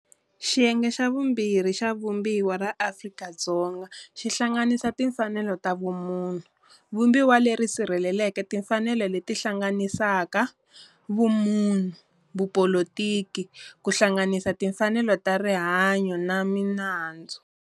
Xiyenge xa vumbirhi xa Vumbiwa ra Afrika-Dzonga xi hlanganisa Timfanelo ta vumunhu, vumbiwa leri sirhelelaka timfanelo leti hlanganisaka, vumunhu, vupolitiki ku hlanganisa timfanelo ta rihanyo na manandzu.